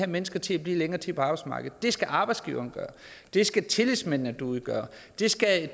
mennesker til at blive længere tid på arbejdsmarkedet det skal arbejdsgiveren gøre det skal tillidsmændene derude gøre det skal